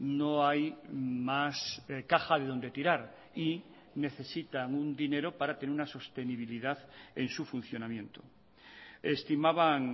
no hay más caja de donde tirar y necesitan un dinero para tener una sostenibilidad en su funcionamiento estimaban